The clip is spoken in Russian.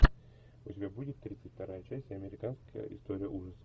у тебя будет тридцать вторая часть американская история ужасов